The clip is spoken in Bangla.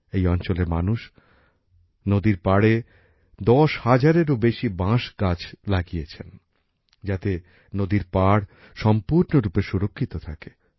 এই অঞ্চলের মানুষ নদীর পাড়ে দশ হাজারেরো বেশি বাঁশ গাছ লাগিয়েছেন যাতে নদীর পাড় সম্পূর্ণরূপে সুরক্ষিত থাকে